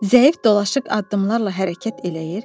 Zəif dolaşıq addımlarla hərəkət eləyir.